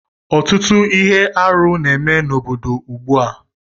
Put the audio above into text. Ọtụtụ ihe arụ na-eme n'obodo ugbu a